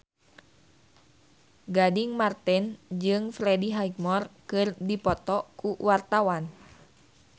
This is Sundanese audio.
Gading Marten jeung Freddie Highmore keur dipoto ku wartawan